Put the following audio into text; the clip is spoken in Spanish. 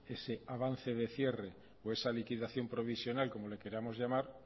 ese avance de cierre o esa liquidación provisional como le queramos llamar